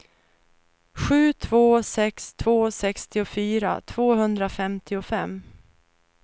sju två sex två sextiofyra tvåhundrafemtiofem